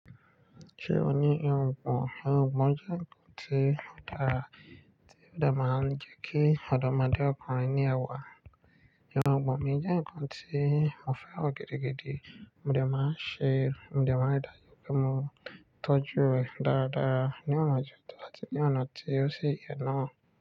Ṣé ò ní ìrungbon? Ìrungbon jẹ́ ǹkan tí ó dára, tí ó de máa ń jẹ́ kí ọ̀dọ́mọdé ọkùnrin ní ẹwà. Irugbon mi jẹ́ ǹkan tí mo fẹran gidi gidi, mo dà máa ń ṣe, mo de máa ń ri dá ju pé mo tọ́jú rẹ̀ dáradára ní ọ̀nà tó àti ní ọ̀nà tí ó sì yẹ náà.